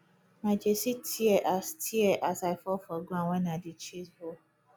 my jersey tear as tear as i fall for ground wen i dey chase ball